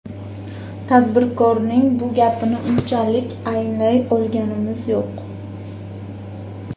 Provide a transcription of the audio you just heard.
Tadbirkorning bu gapini unchalik anglay olganimiz yo‘q.